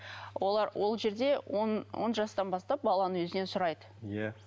олар ол жерде он он жастан бастап баланың өзінен сұрайды иә